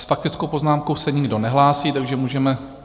S faktickou poznámkou se nikdo nehlásí, takže můžeme...